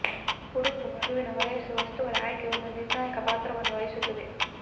ಉಡುಪು ಮಗುವಿನ ವಯಸ್ಸು ವಸ್ತುಗಳನ್ನು ಆಯ್ಕೆ ಒಂದು ನಿರ್ಣಾಯಕ ಪಾತ್ರವನ್ನು ವಹಿಸುತ್ತದೆ